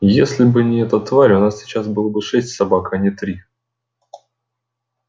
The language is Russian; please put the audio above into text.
если бы не эта тварь у нас сейчас было бы шесть собак а не три